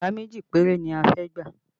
Yàrá méjì péré ni a fẹ́ gbà